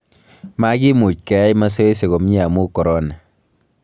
Makiimuch keyai masoesi komye amuu Korona